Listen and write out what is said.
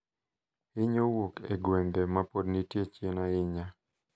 Hinyo wuok e gwenge mapod nitie chien ahinya,